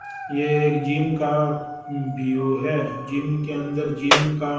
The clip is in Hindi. ये एक जिम का व्यू है जिम के अंदर जिम का--